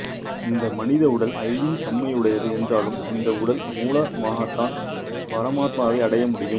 இந்த மனித உடல் அழியும் தன்மையுடையது என்றாலும் இந்த உடல் மூலமாகத்தான் பரமாத்மாவை அடைய முடியும்